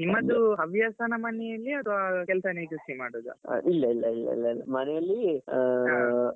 ನಿಮ್ಮದು ಹವ್ಯಾಸನ ಮನೆಲ್ಲಿ ಅತ್ವಾ ಕೆಲ್ಸನೇ ಕೃಷಿ ಮಾಡುದಾ? ಇಲ್ಲ ಇಲ್ಲ ಇಲ್ಲ ಮನೆಲ್ಲಿ ಆ